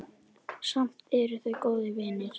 Samt eru þau góðir vinir.